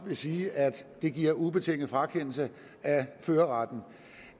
vil sige at det giver ubetinget frakendelse af førerretten